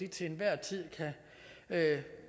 til enhver tid